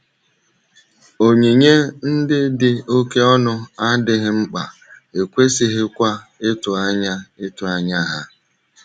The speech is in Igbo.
Onyinye ndị dị oké ọnụ adịghị mkpa, e kwesịghịkwa ịtụ anya ịtụ anya ha.